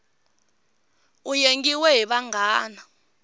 u yengiwe hi vanghana